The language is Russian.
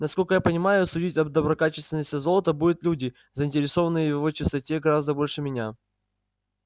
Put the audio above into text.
насколько я понимаю судить о доброкачественности золота будут люди заинтересованные в его чистоте гораздо больше меня